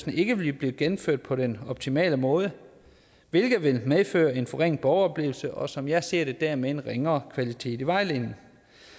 ikke vil blive gennemført på den optimale måde hvilket vil medføre en forringet borgeroplevelse og som jeg ser det dermed en ringere kvalitet i vejledningen